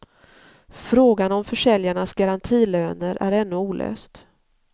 Frågan om försäljarnas garantilöner är ännu olöst.